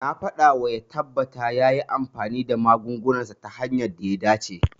Na faɗawa ya tabbata yayi amfani da magungunansa ta hanyar da ta dace.